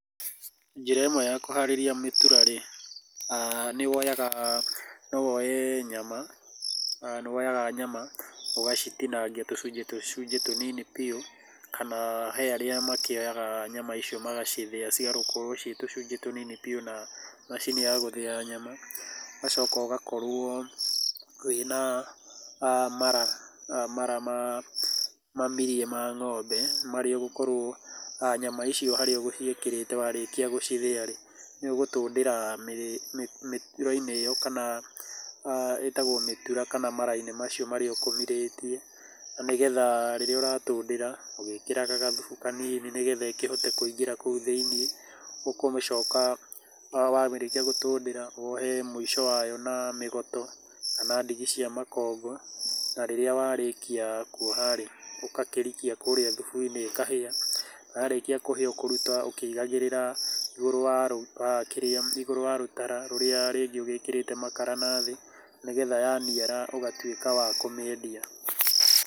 Njĩra ĩmwe ya kũharĩria mĩtura rĩ, nĩ woyaga, no woe nyama, nĩ woyaga nyama ũgacitinangia tũcunje tũcunje tũnini biũ kana he arĩa makĩoyaga nyama icio magacithĩa cigakorũo ciĩ tũcunje tũnini biũ na macini ya gũthĩa nyama. Ũgacoka ũgakorũo wĩna mara, mara mamirie ma ng'ombe marĩa ũgũkorwo nyama icio harĩa ũgũciĩkĩrĩte warĩkia gũcithĩa rĩ, nĩ ũgũtũndĩra mĩtura-inĩ ĩyo kana ĩtagwo mĩtura kana mara-inĩ macio marĩa ũkũmirĩtie, na nĩgetha rĩrĩa ũratũndĩra ũgĩkĩraga gathubu kanini nĩgetha ĩkĩhote kũingĩra kũu thĩinĩ, ũkũmĩcoka warĩkia gũtũndĩra wohe mũico wayo na mĩgoto kana ndigi cia makongo, na rĩrĩa warĩkia kuoha rĩ, ũgakĩrikia kũrĩa thubu-inĩ ĩkahĩa, yarĩkia kũhĩa ũkũruta ũkĩigagĩrĩra igũrũ wa rũtara rũrĩa ũgĩkĩrĩte makara nathĩ nĩgetha yaniara ũgatuĩka wa kũmĩendia.